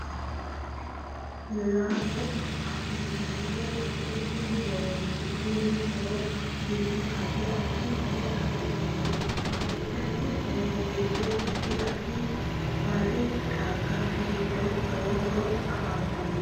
Laalo afantannohu add addi muroniiti tenne muro giddo addi addi horoo anfani anfanni horo giddono addi addi baadi xaggano giddono lowo horo afantanno